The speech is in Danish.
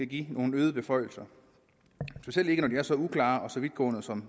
give dem nogle øgede beføjelser specielt ikke er så uklare og så vidtgående som